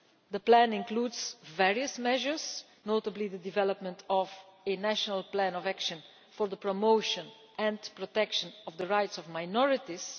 The plan includes various measures, notably the development of a national plan of action for the promotion and protection of the rights of minorities.